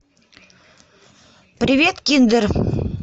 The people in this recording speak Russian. привет киндер